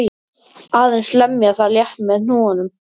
Aðeins lemja það létt með hnúunum.